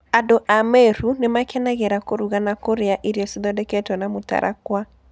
Andũ a Meru nĩ makenagĩra kũruga na kũrĩa irio ciathondeketwo na mũtarakwa.